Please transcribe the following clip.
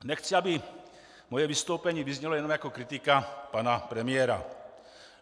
Nechci, aby moje vystoupení vyznělo jenom jako kritika pana premiéra.